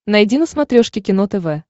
найди на смотрешке кино тв